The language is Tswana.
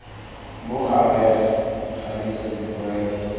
mo gareg ga ditso dipoelo